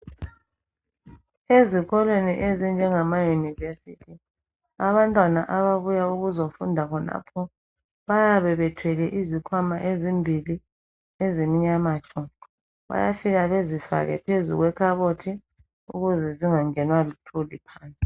Ezikolweni ezinjengamaYunivesi, abantwana ababuya ukuzofunda khonapho bayabe bethwele izikhwama ezimbili ezimnyama tshu. Bayafika bezifake phezu kwekhabothi ukuze zingangenwa luthuli phansi.